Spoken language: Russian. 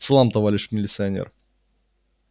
салам товарищ милицанер